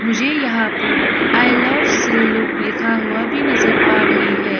मुझे यहां पर आई लव सिल्लूक लिखा हुआ भी नजर आ रही है।